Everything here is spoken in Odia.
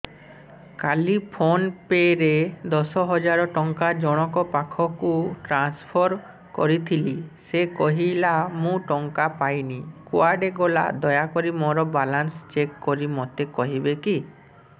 କାଲି ଫୋନ୍ ପେ ରେ ଦଶ ହଜାର ଟଙ୍କା ଜଣକ ପାଖକୁ ଟ୍ରାନ୍ସଫର୍ କରିଥିଲି ସେ କହିଲା ମୁଁ ଟଙ୍କା ପାଇନି କୁଆଡେ ଗଲା ଦୟାକରି ମୋର ବାଲାନ୍ସ ଚେକ୍ କରି ମୋତେ କହିବେ କି